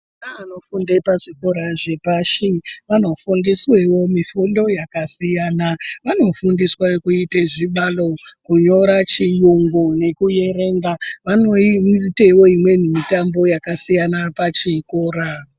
Ana anofunde pazvikora zvepashi vanofundiswewo mifundo yakasiyana. Vanofundiswe kuite zvibalo, kunyora, chiyungu nekuerenga. Vanoitewo mitambo yakasiyana pachikora.